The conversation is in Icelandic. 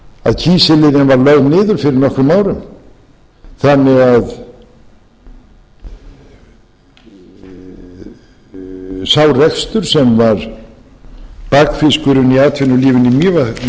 eins og þessum opinberu starfsmönnum sé það ekki kunnugt að kísiliðjan var lögð niður fyrir nokkrum árum þannig að sá rekstur sem var bakfiskurinn í atvinnulífinu í mývatnssveit